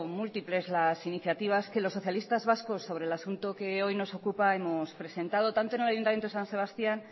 múltiples las iniciativas que los socialistas vascos sobre el asunto que hoy nos ocupa hemos presentado tanto en el ayuntamiento de san sebastián